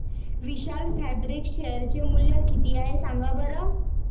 विशाल Fabrics share चे मूल्य किती आहे सांगा बरं